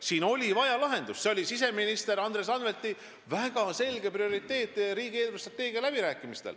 Siin oli vaja lahendust ja see oli siseminister Andres Anvelti väga selge prioriteet riigi eelarvestrateegia läbirääkimistel.